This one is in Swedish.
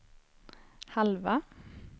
halva